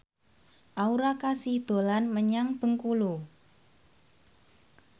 Aura Kasih dolan menyang Bengkulu